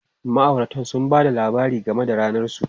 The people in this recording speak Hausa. Ma'auratan sun ba da labari game da ranar su.